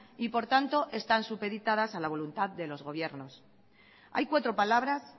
y por tanto están supeditadas a la voluntad de los gobiernos hay cuatro palabras